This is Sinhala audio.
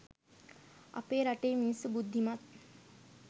අපේ රටේ මිනිස්සු බුද්ධිමත්